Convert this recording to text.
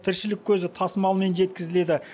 тіршілік көзі тасымалмен жеткізіледі